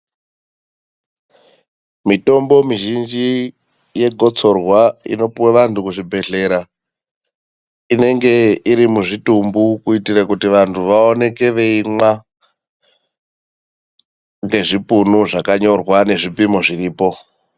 Mitombo mizhinji yegotsorwa inopuwe vantu kuzvibhehlera inenge iri muzvitumbu kuitira kuti vantu vaoneke veimwa ngezvipunu ngezvipimo zviripo.